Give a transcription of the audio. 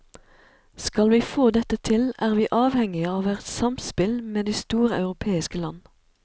Skal vi få dette til, er vi avhengige av et samspill med de store europeiske land.